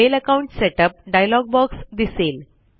mail account setup dialog box दिसेल